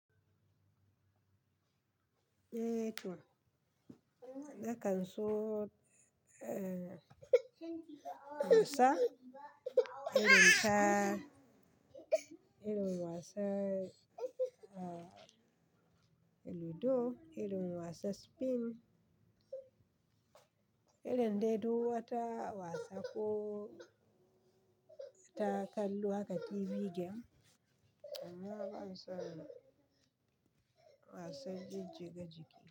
Eh to. Nakan so, eh, na wasa. Irin ta, irin wasa, ah, Ludo, irin wasa Spin. Irin dai duk wata wasa ko ta kallo haka TV game, amma ban son wasan jijjiga jiki.